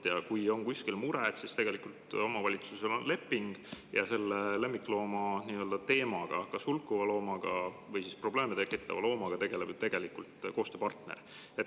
Kui on kuskil mure, siis tegelikult omavalitsusel on leping ja selle lemmikloomaga, kas hulkuva või probleeme tekitava loomaga tegeleb koostööpartner.